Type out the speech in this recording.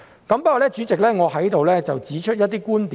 不過，代理主席，我要在此提出一些觀點。